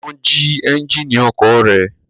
Wọ́n jí ẹ́ńjínì ọkọ̀ rẹ̀?